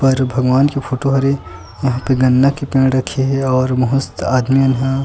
पर भगवान के फोटो हरे यहाँ पे गन्ना के पेड़ रखे ह और बहुत से आदमी मन ह --